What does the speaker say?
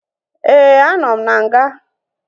Éè, a nọ m n'nga